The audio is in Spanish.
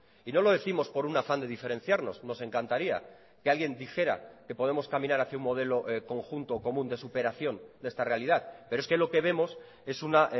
y no lo décimos por un afán de diferenciarnos nos encantaría que alguien dijera que podemos caminar hacia un modelo conjunto común de superación de esta realidad pero es que lo que vemos es una